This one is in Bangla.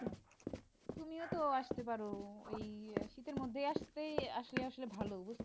তুমিও তো আসতে পারো এই শীতের মধ্যে আসতে আসলে আসলে ভালো বুজ